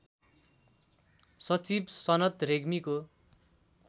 सचिव सनत रेग्मीको